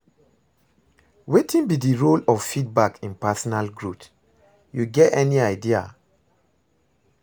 Wetin be di role of feedback in personal growth, you get any idea?